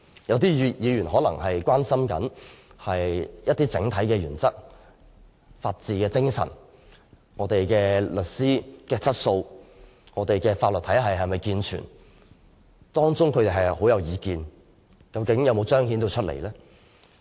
有些議員可能很關心整體原則、法治精神、律師質素和法律體系是否健全，但他們的意見有否反映出來？